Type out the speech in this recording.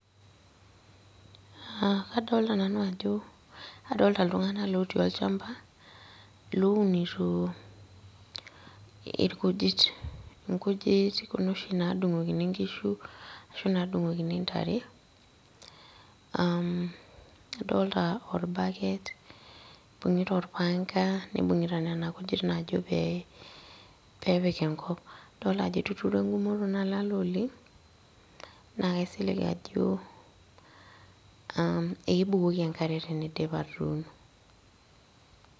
Kadolta nanu ajo, kadolta iltung'anak otii olchamba, lounito irkujit, inkujit kuna oshi nadung'okini nkishu, ashu nadung'okini ntare, adolta orbaket, ibung'ita orpanga, nibung'ita nena kujit najo pee pepik enkop. Adolta ajo etuturo egumoto nalala oleng, naa kaisilig ajo, ekebukoki enkare teniidip atuuno.